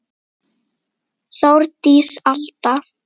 Þórdís Alda.